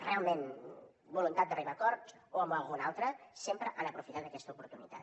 realment la voluntat d’arribar a acords o amb alguna altra sempre han aprofitat aquesta oportunitat